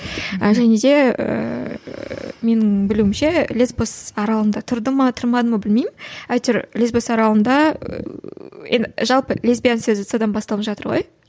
ііі және де ііі менің білуімше лесбос аралында тұрды ма тұрмады ма білмеймін әйтеуір лесбос аралында жалпы лесбиян сөзі содан басталып жатыр ғой